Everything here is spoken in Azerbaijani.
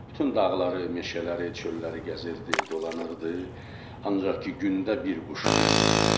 Bütün dağları, meşələri, çölləri gəzirdi, dolanırdı, ancaq ki, gündə bir quş vururdu.